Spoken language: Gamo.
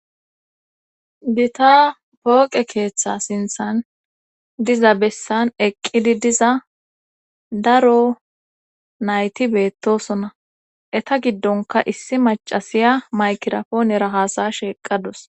Bita pooqe keeththa sinththan diza bessan eqqidi diza daro nayti beettosona etta giddonka issi macasiya maykirapoonera hasa'ashshe eqadosus